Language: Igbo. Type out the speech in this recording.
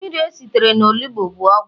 mmiri esitere na onugbu bu ogwu